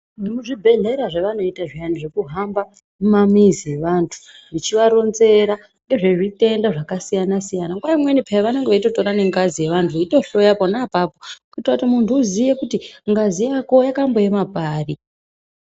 Vemuzvibhehlera zvevanoita zviyani zvekuhamba mumamizi eantu vechivaronzera, ngezve zvitenda zvakasiyana-siyana nguwa imweni peyani vanenge veitotora nengazi yeantu veitohloya pona apapo , kuti muntu uziye kuti ngazi yako yakamboema pari.